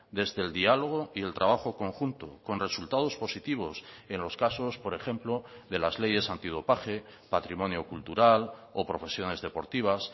desde el diálogo y el trabajo conjunto con resultados positivos en los casos por ejemplo de las leyes antidopaje patrimonio cultural o profesiones deportivas